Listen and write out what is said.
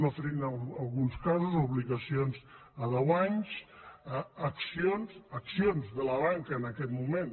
ofereixen en alguns casos obligacions a deu anys accions accions de la banca en aquest moment